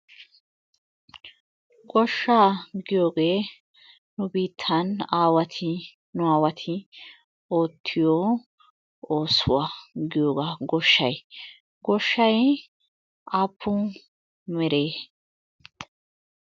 Goshshaa giyogee nu biittan aawati nu aawati oottiyo oosuwa giyogaa goshshay. Goshshay aappun meree?